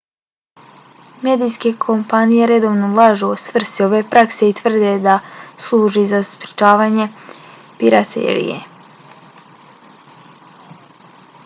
medijske kompanije redovno lažu o svrsi ove prakse i tvrde da služi za sprečavanje piraterije